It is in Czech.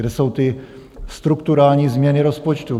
Kde jsou ty strukturální změny rozpočtu?